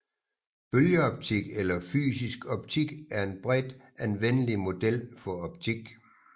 Bølgeoptik eller fysisk optik er en bredt anvendelig model for optik